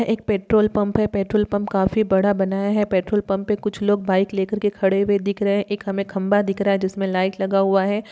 एक petrol pump है। Petrol pump काफी बड़ा बनाया है। पेट्रोल पंप पे कुछ लोग बाइक लेकर के खड़े हुए दिख रहे हैं। एक हमें खम्भा दिख रहा है जिसमें लाइट लगा हुआ है।